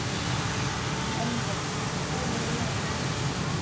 Elva, spilaðu lag.